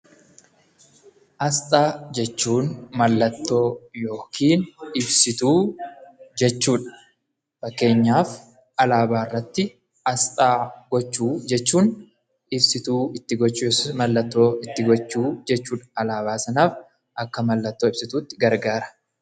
Asxaa jechuun mallattoo yokiin ibsituu jechuudha. Fakkeenyaaf alaabaarratti asxaa gochuu jechuun ibsituu itti gochuu yookis mallattoo itti gochuu jechuudha. Alaabaa sanaaf akka mallattoo ibsituutti gargaara.